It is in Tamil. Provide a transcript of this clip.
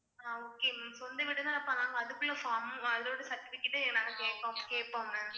ஆஹ் okay ma'am சொந்த வீடு அதுக்குள்ள அதோட certificate